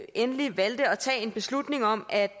endelig valgte at tage en beslutning om at